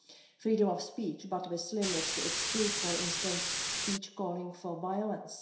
freedom of speech, but with limits to exclude, for instance, speech calling for violence